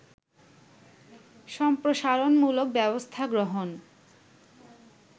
সম্প্রসারণমূলক ব্যবস্থা গ্রহণ